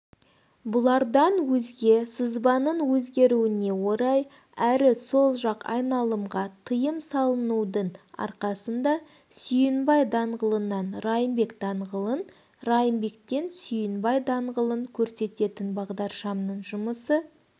бұлардан өзге сызбаның өзгеруіне орай әрі сол жақ айналымға тыйымсалынудың арқасында сүйінбай даңғылынан райымбек даңғылын райымбектен сүйінбай даңғылын көрсететін бағдаршамның жұмысы